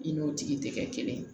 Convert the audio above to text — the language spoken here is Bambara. I n'o tigi tɛ kɛ kelen ye